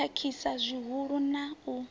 ḓo khakhisa zwihulusa na u